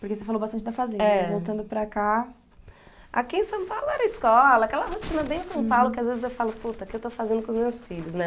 Porque você falou bastante da fazenda, eh, mas voltando para cá... Aqui em São Paulo era escola, aquela rotina bem São Paulo, que às vezes eu falo, puta, o que eu estou fazendo com os meus filhos, né?